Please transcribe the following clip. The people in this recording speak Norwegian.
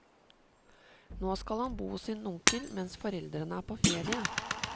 Nå skal han bo hos sin onkel mens foreldrene er på ferie.